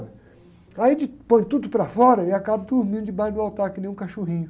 Aí a gente põe tudo para fora e acabo dormindo debaixo do altar, que nem um cachorrinho.